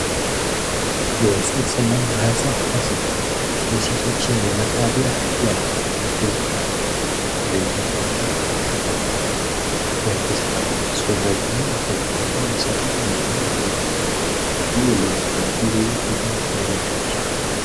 የ ጽንስ እና ማህጸን ሀኪም የሴቶችን የመራቢያ ጤና እርግዝና እና መዉለድን ይከታተላል። በእርግዝና ወቅት አስፈላጊዉን እንክብካቤ